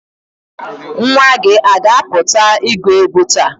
Nwa gị ọ ga-apụta igwu egwu taa?